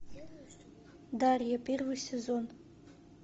дарья первый сезон